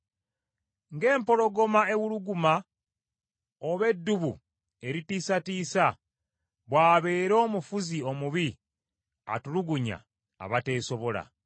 Ng’empologoma ewuluguma oba eddubu eritiisatiisa, bw’abeera omufuzi omubi atulugunya abateesobola.